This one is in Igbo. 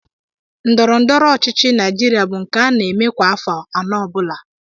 Ndọrọndọrọ ọchịchị Naijiria bụ nke a na-eme kwa afọ anụ ọ bụla